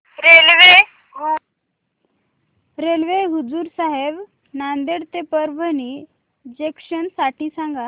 railway Hazur Sahib Nanded ते Parbhani junction साठी सांगा